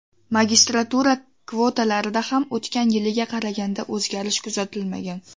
Magistratura kvotalarida ham o‘tgan yilgiga qaraganda o‘zgarish kuzatilmagan.